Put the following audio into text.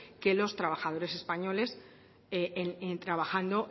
que los trabajadores españoles trabajando